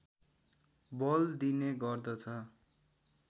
बल दिने गर्दछ